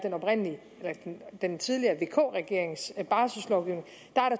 den tidligere vk regerings barsellovgivning